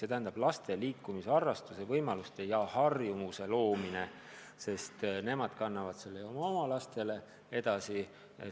Eesmärk peab olema laste liikumisharrastuse võimaluste ja harjumuse loomine, sest nemad kannavad selle oma lastele edasi.